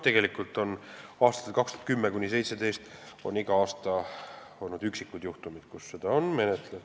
Tegelikult oli aastatel 2010–2017 iga aasta üksikuid juhtumeid, mida menetleti.